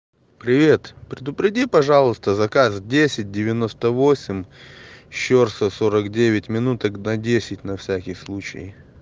привет предупреди пожалуйста заказ десять девяносто восемь щорса сорок девять минуток на десять на всякий случай